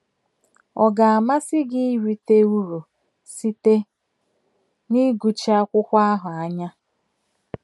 Ọ ga - amasị gị irite uru site n’ịgụchi akwụkwọ ahụ anya?